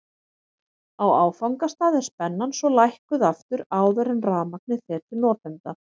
Á áfangastað er spennan svo lækkuð aftur áður en rafmagnið fer til notenda.